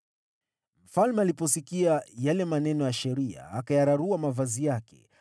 Mfalme aliposikia yale maneno ya Sheria, akayararua mavazi yake.